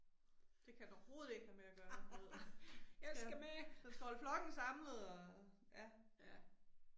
Det kan den overhovedet ikke have med at gøre du ved. Så. Den skal holde flokken samlet og, ja